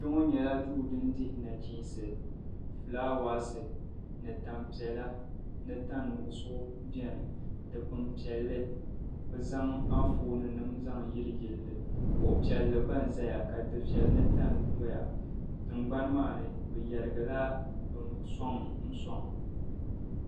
Kpɛŋɔ nyɛla duu din dihi nachiinsi fulaawaasi ni tam' piɛla ni tan' nuɣiso beni. Dipkini piɛlli bɛ zaŋ anfooninima zaŋ yiliyili li. Kuɣ' piɛlli gba n-zaya ka difiɛli ni tani dɔya. Tiŋgbani maa ni bɛ yarigila sɔŋ n-sɔŋ.